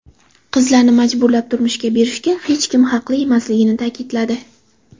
Qizlarni majburlab turmushga berishga hech kim haqli emasligini ta’kidladi .